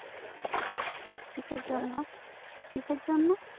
কিসের জন্য কিসের জন্য